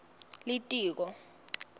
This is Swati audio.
litiko